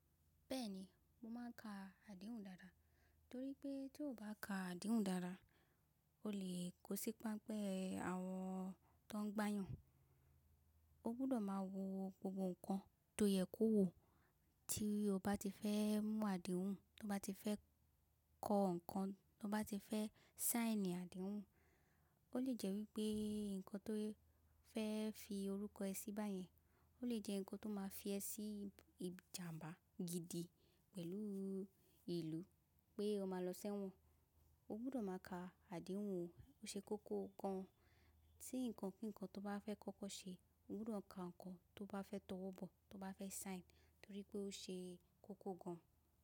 Bẹ́ẹ̀ni, mo máà n ka àdéhùn dáadáa torí pé tí o baa kà àdéhùn dáadáa o lè kó sí pánpẹ́ àwọn tó n gbáyàn. O gbudọ̀ máa wo gbogbo ǹnkan tó yẹ kó wo tí o bá ti fẹ́ mú àdéhùn, tó bá ti fẹ́ kọ nǹkan, tó bá ti fẹ́ saini àdéhùn. Ó lè jẹ́ wípé ǹnkan tó fẹ́ fi orúkọ ẹ síbáyẹn ó lè jẹ́ ǹnkan tó máa fi ẹ sí i ìjàǹbá gidi pẹ̀lú ìlú pé o máa lọ sẹ́wọ̀n. O gbudọ̀ máa ka àdéhùn o, o ṣe kókó gan an. Tí ǹnkan kí kan tó bá fẹ́ kọ́kọ́ ṣe, o gbudọ̀ ka ǹnkan tó bá fẹ́ tọwọ́ bọ̀, tó bá fẹ́ saini torí pé o ṣe kókó gan.